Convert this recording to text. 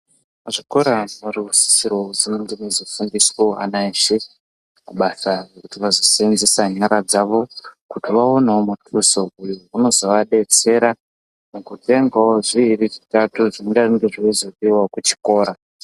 Zvikora zvoorosisirwa kuti zvinge zveizofundisawo ana eshe mabasa ekuti vazoseenzesa nyara dzavo kuti vaonewo mutuso uyo unozovadetsera mukutengawo zviiri zvitatu zvingange zveizodziwawo kuchikora.